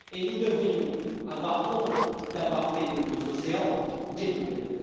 Nous devrions avoir honte d'avoir fait de nos océans des poubelles.